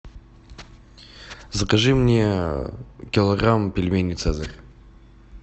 закажи мне килограмм пельменей цезарь